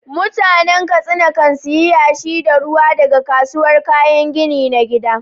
Mutanen Katsina kan sayi yashi da ruwa daga kasuwar kayan gini na gida.